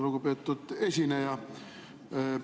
Lugupeetud esineja!